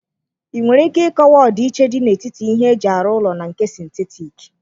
Ị nwere ike ịkọwa ọdịiche dị n'etiti ihe eji arụ ụlọ na nke sịntetik?